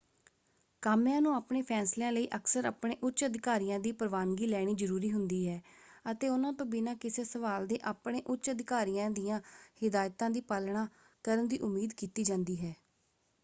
ਕਾਮਿਆਂ ਨੂੰ ਆਪਣੇ ਫ਼ੈਸਲਿਆਂ ਲਈ ਅਕਸਰ ਆਪਣੇ ਉੱਚ ਅਧਿਕਾਰੀਆਂ ਦੀ ਪ੍ਰਵਾਨਗੀ ਲੈਣੀ ਜ਼ਰੂਰੀ ਹੁੰਦੀ ਹੈ ਅਤੇ ਉਹਨਾਂ ਤੋਂ ਬਿਨਾਂ ਕਿਸੇ ਸਵਾਲ ਦੇ ਆਪਣੇ ਉੱਚ ਅਧਿਕਾਰੀਆਂ ਦੀਆਂ ਹਿਦਾਇਤਾਂ ਦੀ ਪਾਲਣਾ ਕਰਨ ਦੀ ਉਮੀਦ ਕੀਤੀ ਜਾਂਦੀ ਹੈ।